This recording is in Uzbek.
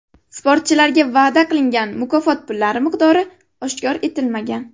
Sportchilarga va’da qilingan mukofot pullari miqdori oshkor etilmagan.